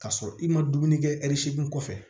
K'a sɔrɔ i ma dumuni kɛ ɛri seegin kɔfɛ